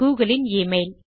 Google இன் email